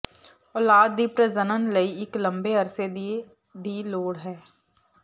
ਔਲਾਦ ਦੀ ਪ੍ਰਜਨਨ ਲਈ ਇੱਕ ਲੰਬੇ ਅਰਸੇ ਦੇ ਦੀ ਲੋੜ ਹੈ